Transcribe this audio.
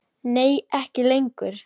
Nei ekki lengur.